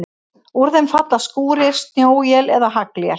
Úr þeim falla skúrir, snjóél eða haglél.